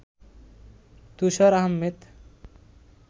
Tushar Ahmed